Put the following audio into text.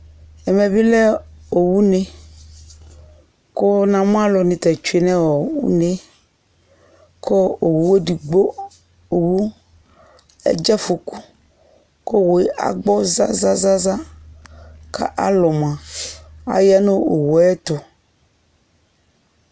Ɛmɛ bi lɛ owu ne ku namu aluni tɛ etsue nu une ku owu edigbo owu adze afɔku agbɔ ku owu agbɔ zazã ku alu mua aya nu owuɛtu